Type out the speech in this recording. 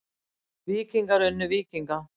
Víkingar unnu Víkinga